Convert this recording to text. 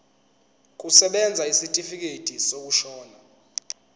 kusebenza isitifikedi sokushona